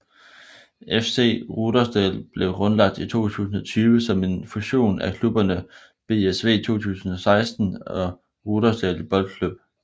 FC Rudersdal blev grundlagt i 2020 som en fusion af klubberne BSV2016 og Rudersdal Boldklub